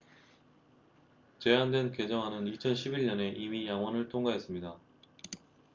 제안된 개정안은 2011년에 이미 양원을 통과했습니다